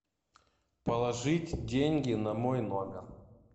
положить деньги на мой номер